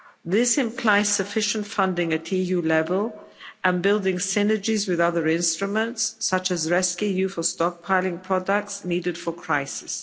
This implies sufficient funding at EU level and building synergies with other instruments such as rescEU for stockpiling products needed for crisis.